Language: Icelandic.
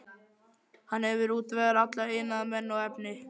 Hann hefur útvegað alla iðnaðarmenn og efni.